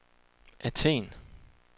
Athen